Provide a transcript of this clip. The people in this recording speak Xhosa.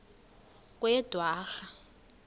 kweyedwarha